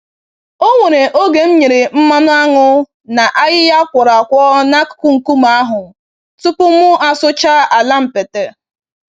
Onwere oge m nyere mmanụ aṅụ na ayịya a kwọrọ-akwọ n'akụkụ nkume ahụ tupu mụ asụchaa ala mpete.